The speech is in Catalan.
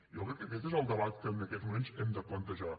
jo crec que aquest és el debat que en aquests moments hem de plantejar